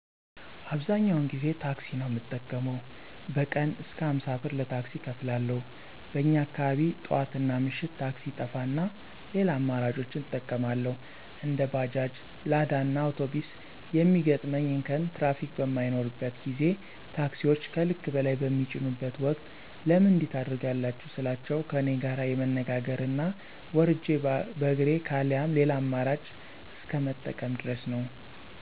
አብዛኛውን ጊዜ ታክሲ ነው ምጠቀመው። በቀን እስከ አምሳ ብር ለታክሲ እከፍላለሁ። በኛ አካባቢ ጥዋትናምሽት ታክሲ ይጠፋና ሌላ አማራጮችን እጠቀማለሁ። እንደ ባጃጅ፣ ላዳእና አውቶቢስ የሚገጥመኝ እንከን ትራፊክ በማይኖርበት ጊዜ ታክሲወች ከልክ በላይ በሚጭኑበት ወቅት ለምን እንዲህ ታደርጋላችሁ ስላቸው ከኔጋር የመነጋገር እና ወርጀ በእግሬ ካለያም ሌላ አመራጭ እስከ መጠቀም ድረስ ነው።